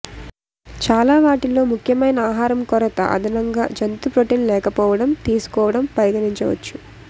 చాలా వాటిలో ముఖ్యమైన ఆహారం కొరత అదనంగా జంతు ప్రోటీన్ లేకపోవడం తీసుకోవడం పరిగణించవచ్చు